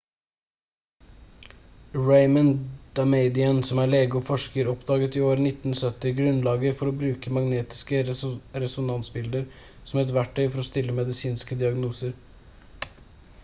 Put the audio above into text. raymond damadian som er lege og forsker oppdaget i år 1970 grunnlaget for å bruke magnetiske resonansbilder som et verktøy for å stille medisinske diagnoser